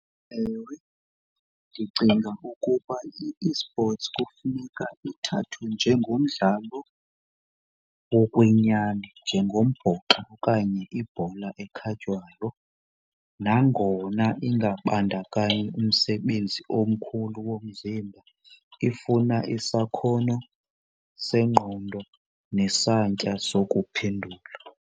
Ewe ndicinga ukuba i-eSports kufuneka ithathwe njengomdlalo wokwenyani njengombhoxo okanye ibhola ekhatywayo. Nangona ingabandakanyi umsebenzi omkhulu womzimba ifuna isakhono sengqondo nesantya sokuphendula.